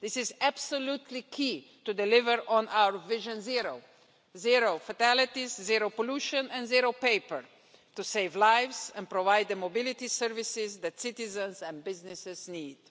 This is absolutely key to deliver on our vision zero zero fatalities, zero pollution and zero paper, to save lives and provide the mobility services that citizens and businesses need.